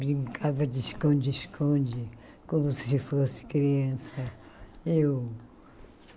Brincava de esconde-esconde, como se fosse criança eu.